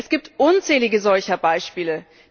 Es gibt unzählige solcher Beispiele.